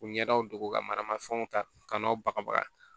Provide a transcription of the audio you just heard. U ɲɛdaw dogo ka mana fɛnw ta ka n'o bagabaga